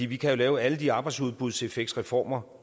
vi kan lave alle de arbejdsudbudseffektsreformer